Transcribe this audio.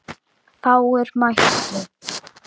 Fáir mættu.